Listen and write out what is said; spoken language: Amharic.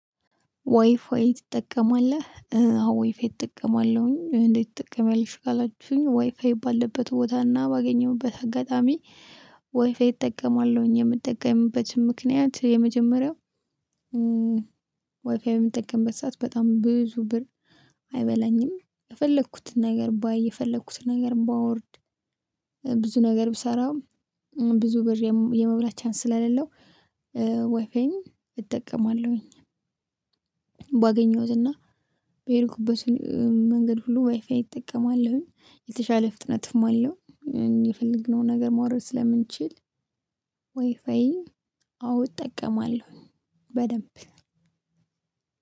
ዋይፋይ ትጠቀማለህ አዎ ዋይፋይ እጠቀማለሁኝ። እንዴት ትጠቀሚያለሽ? ካላችሁኝ ዋይፋይ ባለበት ቦታና ባገኘሁበት አጋጣሚ ዋይፋይ እጠቀማለሁኝ የምጠቀምበትን ምክንያት። የመጀመሪያው ወይፋይ በምጠቀምበት ሰዓት በጣም ብዙ ብር አይበላኝም። የፈለኩትን ነገር ባይ የፈለኩትን ነገር ባወርድ። ብዙ ነገር ብሰራም ብዙ ብር የመብላት ቻንስ ስለሌለው። ወይፋይን እጠቀማለሁኝ። ባገኘሁትና በሄድኩበት መንገድ ሁሉ ዋይፋይ እጠቀማለሁኝ የተሻለ ፍጥነትም አለው። የፈለግነውን ነገር ማውረድ ስለምንችል። ዋይፋይ አዎ እጠቀማለሁ በደንብ።